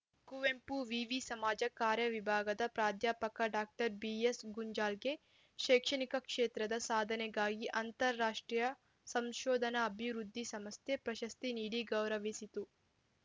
ಕುವೆಂಪು ವಿವಿ ಸಮಾಜ ಕಾರ್ಯ ವಿಭಾಗದ ಪ್ರಾಧ್ಯಾಪಕ ಡಾಕ್ಟರ್ ಬಿಎಸ್‌ಗುಂಜಾಳ್‌ಗೆ ಶೈಕ್ಷಣಿಕ ಕ್ಷೇತ್ರದ ಸಾಧನೆಗಾಗಿ ಅಂತಾರಾಷ್ಟ್ರೀಯ ಸಂಶೋಧನಾ ಅಭಿವೃದ್ಧಿ ಸಂಸ್ಥೆ ಪ್ರಶಸ್ತಿ ನೀಡಿ ಗೌರವಿಸಿತು